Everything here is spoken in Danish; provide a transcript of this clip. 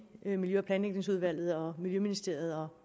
i miljø og planlægningsudvalget og miljøministeriet